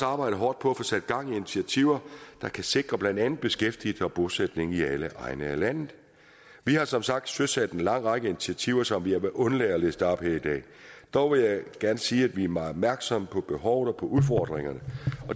arbejdet hårdt på at få sat gang i initiativer der kan sikre blandt andet beskæftigelse og bosætning i alle egne af landet vi har som sagt søsat en lang række initiativer som jeg vil undlade at liste op her i dag dog vil jeg gerne sige at vi er meget opmærksomme på behovet og på udfordringerne